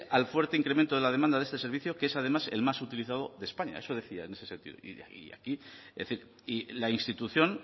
al fuerte incremento de la demanda de este servicio que es además el más utilizado de españa eso decía en ese sentido es decir y la institución